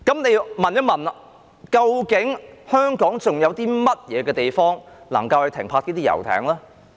那麼，試問香港還有甚麼地方可以停泊遊艇呢？